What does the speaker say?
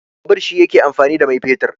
Babur shi yake amfani da mai fetur.